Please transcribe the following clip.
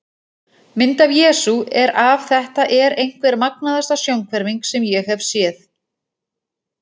Mynd af Jesú er af Þetta er einhver magnaðasta sjónhverfing sem ég hef séð.